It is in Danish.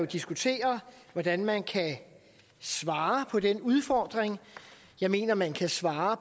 diskutere hvordan man kan svare på den udfordring jeg mener at man kan svare